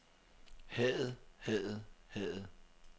hadet hadet hadet